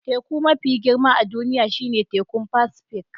Teku mafi girma a duniya shine Tekun Pacific